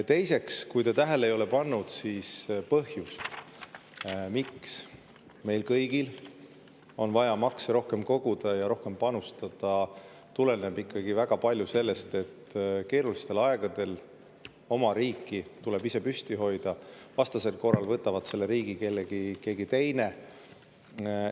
Teiseks, kui te tähele ei ole pannud, siis põhjus, miks meil kõigil on vaja makse rohkem koguda ja rohkem panustada, tuleneb ikkagi väga palju sellest, et keerulistel aegadel tuleb oma riiki ise püsti hoida, vastasel korral võtab selle riigi keegi teine.